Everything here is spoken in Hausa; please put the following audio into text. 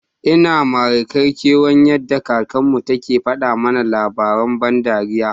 Ina Mari Kar kewan yada kakan mu, take fada mana lava rain ban dariya.